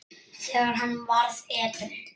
þegar hann varð edrú.